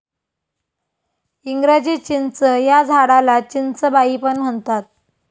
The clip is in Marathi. इंग्रजी चिंच या झाडालाच'चिंचबाई' पण म्हणतात.